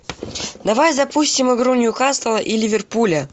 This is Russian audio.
давай запустим игру ньюкасла и ливерпуля